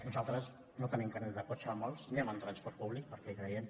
nosaltres no tenim carnet de cotxe molts anem en transport públic perquè hi creiem